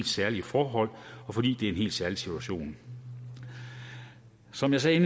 særlige forhold og fordi det er en helt særlig situation som jeg sagde